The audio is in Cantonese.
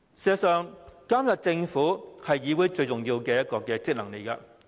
事實上，監察政府是議會最重要的職能。